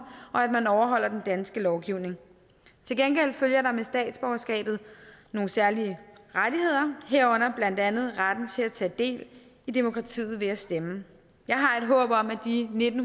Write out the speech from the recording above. og at man overholder den danske lovgivning til gengæld følger der med statsborgerskabet nogle særlige rettigheder herunder blandt andet retten til at tage del i demokratiet ved at stemme jeg har et håb om at de nitten